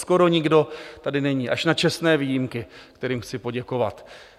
Skoro nikdo tady není, až na čestné výjimky, kterým chci poděkovat.